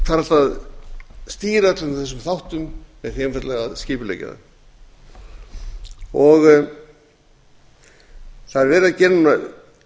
hægt að stýra öllum þessum þáttum með því einfaldlega að skipuleggja þá það er verið að gera